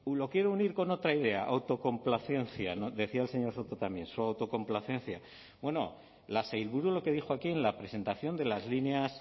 lo quiere unir con otra idea autocomplacencia decía el señor soto también su autocomplacencia bueno la sailburu lo que dijo aquí en la presentación de las líneas